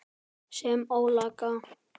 Sem ólga.